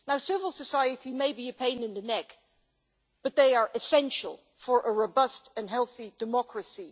Civil society may be a pain in the neck, but it is essential for a robust and healthy democracy.